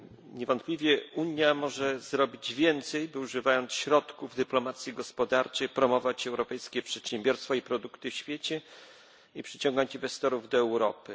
Niewątpliwie Unia może zrobić więcej, by używając środków dyplomacji gospodarczej, promować europejskie przedsiębiorstwa i produkty w świecie i przyciągnąć inwestorów do Europy.